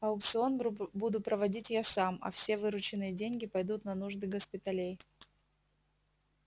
аукцион буду проводить я сам а все вырученные деньги пойдут на нужды госпиталей